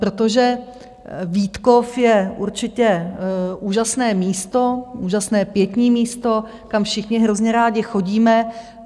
Protože Vítkov je určitě úžasné místo, úžasné pietní místo, kam všichni hrozně rádi chodíme.